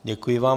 Děkuji vám.